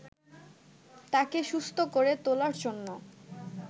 তাকে সুস্থ করে তোলার জন্য